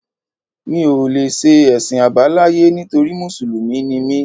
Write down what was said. Mi ò lè ṣe Ẹ̀sìn Àbáláyé nítorí Mùsùlùmí ni mí.